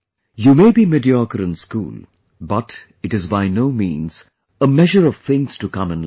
You may be mediocre in school but it is by no means a measure of things to come in life